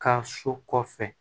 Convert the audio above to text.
Ka so kɔfɛ